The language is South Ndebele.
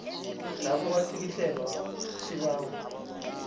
lapho kwatlikitlelwa isibawo